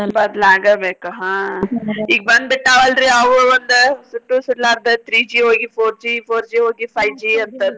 ಬದ್ಲಾಗಬೇಕು ಹಾ ಈಗ್ ಬಂದ್ ಬಿಟ್ಟಾವ ಅಲ್ರಿ ಅವು ಒಂದ ಸುಟ್ಟು ಸುಡಲಾರ್ದ three G ಹೋಗಿ four G four G ಹೋಗಿ five G ಅಂತಂದ.